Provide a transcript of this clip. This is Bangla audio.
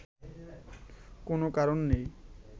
কোন কারণ নেই